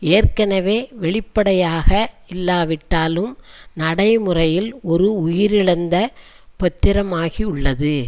ஏற்கனவே வெளிப்படையாக இல்லாவிட்டாலும் நடைமுறையில் ஒரு உயிரிழந்த பத்திரமாகியுள்ளது